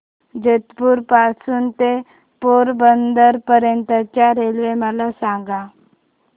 जेतपुर पासून ते पोरबंदर पर्यंत च्या रेल्वे मला सांगा